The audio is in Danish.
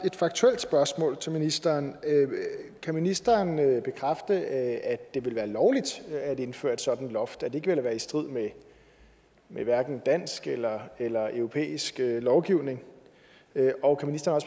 et faktuelt spørgsmål til ministeren kan ministeren bekræfte at det ville være lovligt at indføre et sådant loft at det ville være i strid med dansk eller eller europæisk lovgivning og kan ministeren